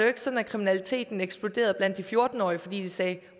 ikke sådan at kriminaliteten eksploderede blandt de fjorten årige fordi de sagde